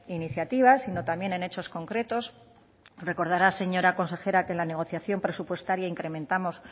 iniciativas sino también en hechos concretos recordará señora consejera que en la negociación presupuestaria incrementamos